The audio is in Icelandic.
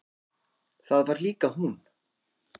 Það var líka hún.